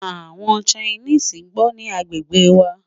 àwọn Chinese gbó ní agbègbè wà